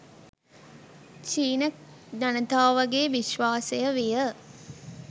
චීන ජනතාවගේ විශ්වාසය විය.